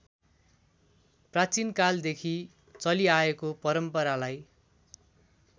प्राचीनकालदेखि चलिआएको परम्परालाई